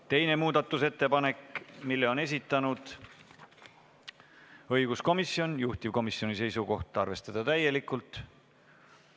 Teise muudatusettepaneku on esitanud õiguskomisjon, juhtivkomisjoni seisukoht on arvestada seda täielikult.